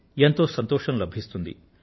ఎంతో సంతోషం లభిస్తుంది